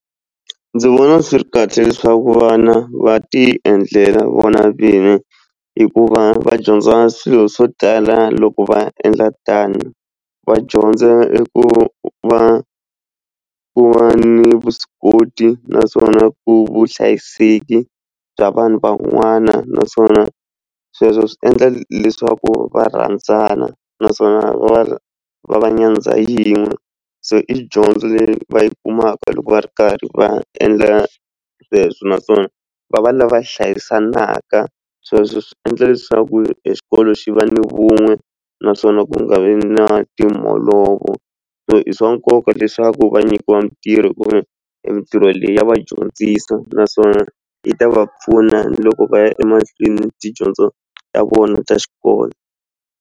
Ndzi vona swi ri kahle leswaku vana va ti endlela vona vini hikuva va dyondza swilo swo tala loko va endla tano va dyondza i ku va ku va ni vuswikoti naswona ku vuhlayiseki bya vanhu van'wana naswona sweswo swi endla leswaku va rhandzana naswona va va va nyandza yin'we se i dyondzo leyi va yi kumaka loko va ri karhi va endla sweswo naswona va va lava va hlayisaka sweswo swi endla leswaku exikolo xi va ni vun'we naswona ku nga vi na so i swa nkoka leswaku va nyikiwa mitirho kumbe mitirho leyi ya vadyondzisa naswona yi ta va pfuna loko va ya emahlweni tidyondzo ta vona ta xikolo.